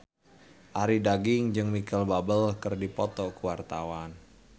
Arie Daginks jeung Micheal Bubble keur dipoto ku wartawan